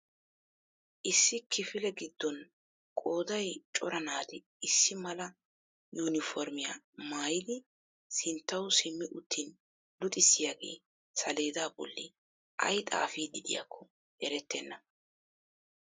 Issi kifile gidon qooday cora naati issi mala 'yuuniformiyaa' maayidi sinttawu simi uttin luxxisiyaagee saleedaa bolli ay xaafiid diyakko erettennaa.